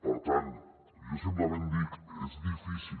per tant jo simplement dic és difícil